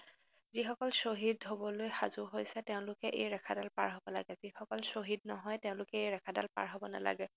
যিসকল শ্বহীদ হবলৈ সাজু হৈছে তেওঁলোকে এই ৰেখাডাল পাৰ হব লাগে, যিসকল শ্বহীদ নহয় তেওঁলোকে এই ৰেখাডাল পাৰ হব নালাগে